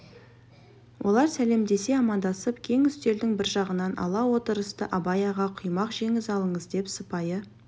олар сәлемдесе амандасып кең үстелдің бір жағын ала отырысты абай аға құймақ жеңіз алыңыз деп сыпайы